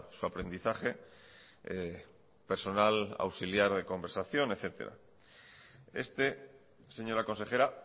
su aprendizaje personal auxiliar de conversación etcétera este señora consejera